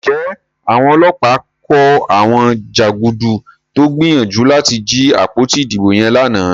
Njé Àwọn ọlọ́pàá kò àwọn janduku tó gbìyànjú láti jí àpótí ìdìbò yen lànà?